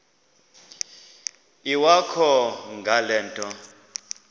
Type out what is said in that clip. iwakho ngale nto